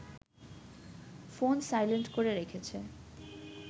phone silent করে রেখেছে